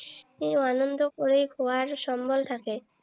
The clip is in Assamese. আনন্দ কৰি খোৱাৰ সম্বল থাকে।